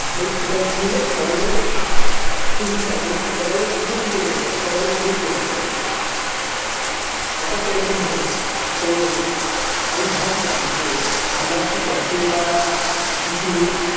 like সেটা মিলে সবাই যেন খুশি থাকে মানে কি সবাই যেন উপকৃত হতে পারে সবাই যেন হেল্প পেতে পারে ব্যাপারটা এরকম হোক সো আমি ভাবছিলাম যে আমার একটা ক্যাফে বা কিছু